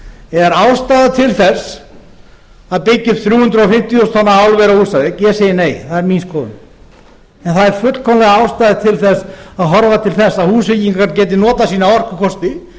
er ástæða til að byggja upp þrjú hundruð fimmtíu þúsund tonna álver á húsavík ég segi nei það er mín skoðun en það er fullkomlega ástæða til að horfa til þess að húsvíkingar geti notað sína orkukosti